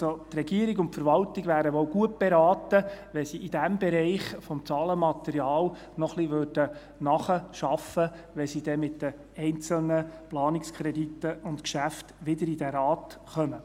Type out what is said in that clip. Also: Die Regierung und die Verwaltung wären wohl gut beraten, wenn Sie im Bereich des Zahlenmaterials noch ein wenig nacharbeiten würden, bevor sie dann mit den einzelnen Planungskrediten und Geschäften wieder in diesen Rat kommen.